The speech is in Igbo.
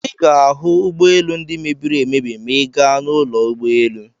Ị ga-ahụ ụgbọelu ndị mebiri emebi ma ị gaa n'ụlọ ụgbọelu.